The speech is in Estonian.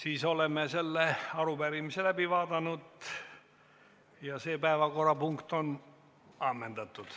Me oleme selle arupärimise läbi arutanud, see päevakorrapunkt on ammendatud.